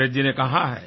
नीरज जी ने कहा है